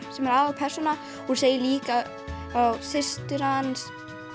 sem er aðalpersónan hún segir líka frá systur hans